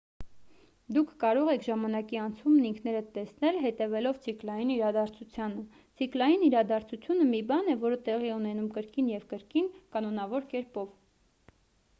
դուք կարող եք ժամանակի անցումն ինքներդ տեսնել հետևելով ցիկլային իրադարձությանը ցիկլային իրադարձությունը մի բան է որը տեղի է ունենում կրկին և կրկին կանոնավոր կերպով